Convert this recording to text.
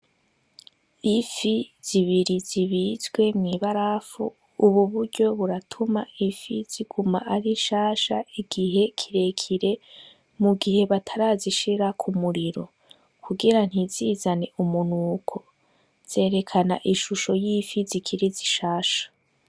Ifi zibiri zibizwe mw'ibarafu, ubu buryo buratuma ifi ziguma ari nshasha igihe kirekire mu gihe batarazishira ku muriro kugira ntizizane umunuko zerekana ishusho y'ifi zikiri zishasha.